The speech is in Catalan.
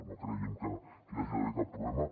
no creiem que hi hagi d’haver cap problema